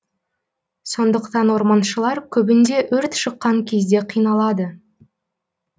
сондықтан орманшылар көбінде өрт шыққан кезде қиналады